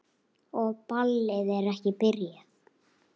Og ballið er ekki byrjað.